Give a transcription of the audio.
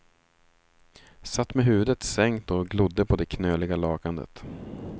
Satt med huvudet sänkt och glodde på det knöliga lakanet.